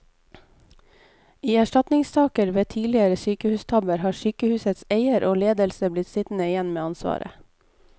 I erstatningssaker ved tidligere sykehustabber har sykehusets eier og ledelse blitt sittende igjen med ansvaret.